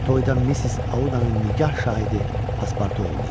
Toyda Missis Audanın nigah şahidi paspartu oldu.